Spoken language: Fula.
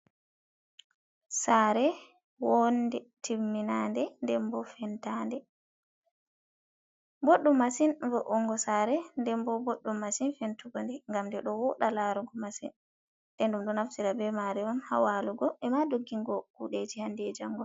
Saare woonde, timminande nden bo fentaande. Boɗɗum masin vo'ungo saare nden bo boɗɗum masin fentugo nde, ngam nde ɗo wooɗa laarugo masin. Nden ɗum ɗo naftira be maare on haa waalugo, e ma doggingo kuuɗeji hande e jango.